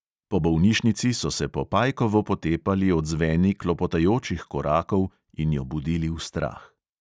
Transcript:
Po bolnišnici so se po pajkovo potepali odzveni klopotajočih korakov in jo budili v strah.